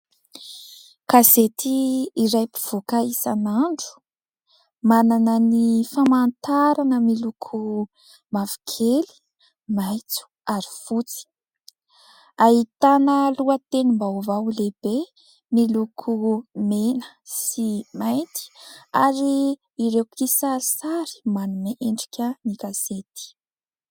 Gazety iray mpivoaka isan'andro ! Manana ny famantarana miloko mavokely, maitso ary fotsy. Ahitana lohatenim-baovao lehibe miloko mena sy mainty ary ireo kisarisary manome endrika ny gazety.